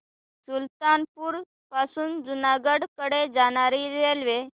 सुल्तानपुर पासून जुनागढ कडे जाणारी रेल्वे